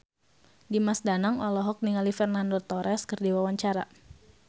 Dimas Danang olohok ningali Fernando Torres keur diwawancara